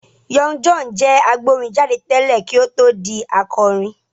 Young John jẹ́ agbórin jáde tẹ́lẹ̀ kí ó tó di akọrin.